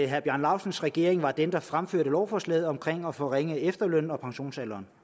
herre bjarne laustsens regering var den der fremsatte lovforslaget om at forringe efterlønnen og pensionsalderen